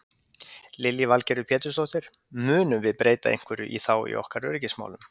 Lillý Valgerður Pétursdóttir: Munum við breyta einhverju þá í okkar öryggismálum?